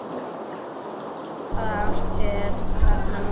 Hvaða árstíð er þarna núna?